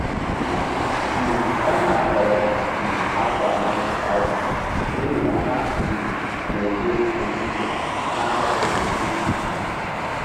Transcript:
um Ọ na-ahọrọ um akwa microfiber n'ihi na ha um na-eburu uzuzu na-ahapụghị streaks n'azụ.